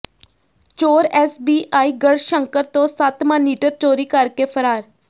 ਚੋਰ ਐਸਬੀਆਈ ਗੜ੍ਹਸ਼ੰਕਰ ਤੋਂ ਸੱਤ ਮਾਨੀਟਰ ਚੋਰੀ ਕਰਕੇ ਫਰਾਰ